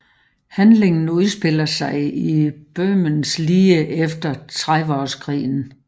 Handlingen udspiller sig i Böhmen lige efter Trediveårskrigen